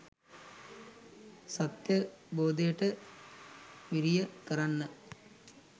සත්‍යාවබෝධයට වීරිය කරන්න